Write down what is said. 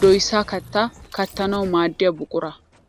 doyisa kattata kattanawu maaddiya buqura.